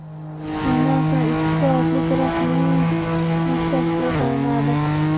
Shundan so‘ng, ikki soatlik rasmiy tushlik tashkil qilinadi.